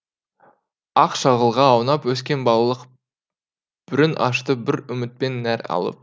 ақ шағылға аунап өскен балалық бүрін ашты бір үміттен нәр алып